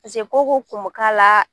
ko o ko kun bɛ k'a la